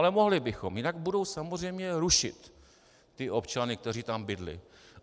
Ale mohli bychom, jinak budou samozřejmě rušit ty občany, kteří tam bydlí.